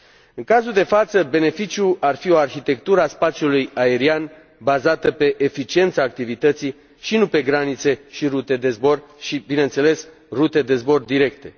În cazul de față, beneficiul ar fi o arhitectură a spațiului aerian bazată pe eficiența activității și nu pe granițe și rute de zbor și, bineînțeles, rute de zbor directe.